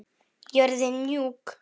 Jörðin mjúk.